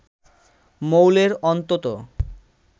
মৌলের অন্তত